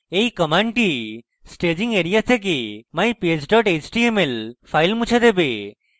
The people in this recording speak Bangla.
এই command staging এরিয়া থেকে mypage html file মুছে দেবে